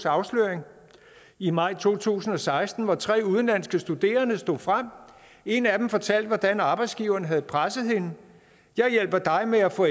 afsløring i maj to tusind og seksten hvor tre udenlandske studerende stod frem en af dem fortalte hvordan arbejdsgiveren havde presset hende jeg hjælper dig med at få